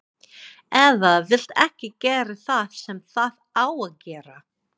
Eða vill ekki gera það sem það á að gera.